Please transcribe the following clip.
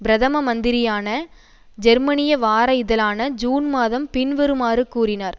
பிரதம மந்திரியான ஜெர்மனிய வார இதழான ஜூன் மாதம் பின்வருமாறு கூறினார்